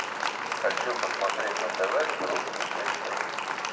хочу посмотреть на тв русский экстрим